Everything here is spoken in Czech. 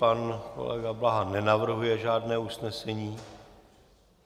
Pan kolega Blaha nenavrhuje žádné usnesení.